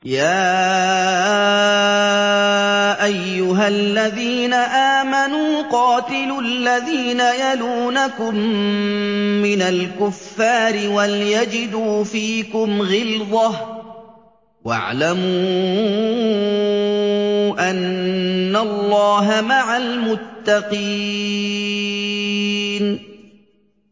يَا أَيُّهَا الَّذِينَ آمَنُوا قَاتِلُوا الَّذِينَ يَلُونَكُم مِّنَ الْكُفَّارِ وَلْيَجِدُوا فِيكُمْ غِلْظَةً ۚ وَاعْلَمُوا أَنَّ اللَّهَ مَعَ الْمُتَّقِينَ